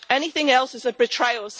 Anything else is a betrayal.